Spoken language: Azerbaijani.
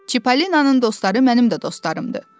"Çippolinanın dostları mənim də dostlarımdır".